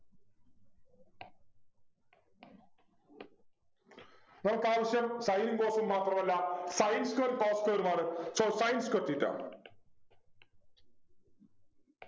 നമുക്കാവശ്യം Sin ഉം cos ഉം മാത്രമല്ല Sin squarecos square ഉം ആണ് so Sin square theta